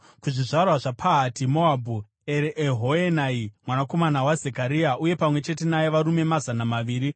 kuzvizvarwa zvaPahati-Moabhu, Eriehoenai mwanakomana waZekaria, uye pamwe chete naye varume mazana maviri;